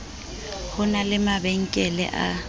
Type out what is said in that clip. ho na le mabankele a